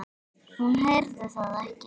Hún heyrði það ekki.